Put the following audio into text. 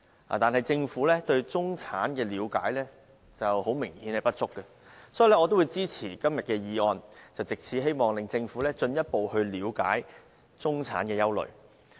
但是，明顯地，政府對中產的了解並不足夠，所以我會支持今天的議案，希望藉此令政府進一步了解中產的憂慮。